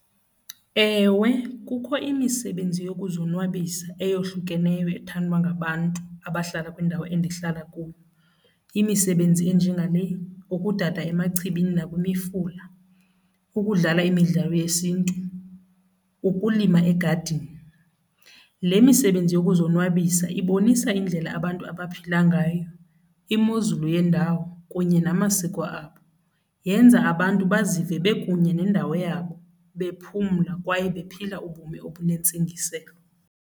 Ewe, kukho imisebenzi yokuzonwabisa eyohlukeneyo ethandwa ngabantu abahlala kwindawo endihlala kuyo imisebenzi enjengale, ukudada emachibini nakwimifula, ukudlala imidlalo yesiNtu, ukulima egadini. Le misebenzi yokuzonwabisa ibonisa indlela abantu abaphila ngayo, imozulu yendawo kunye namasiko abo, yenza abantu bazive bekunye nendawo yabo, bephumla kwaye bephila ubomi obunentsingiselo.